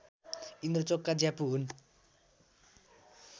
इन्द्रचोक का ज्यापू हुन्